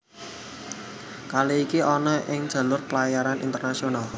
Kali iki ana ing jalur pelayaran internasional